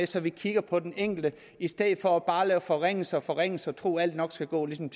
så vi kigger på den enkelte i stedet for bare at lave forringelser og forringelser og tro at alt nok skal gå ligesom